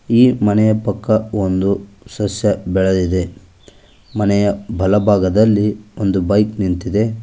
ಈ ಮನೆಯ ಪಕ್ಕ ಒಂದು ಸಸ್ಯ ಬೆಳದಿದೆ ಮನೆಯ ಬಲಭಾಗದಲ್ಲಿ ಒಂದು ಬೈಕ್ ನಿಂತಿದೆ.